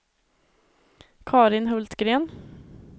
Carin Hultgren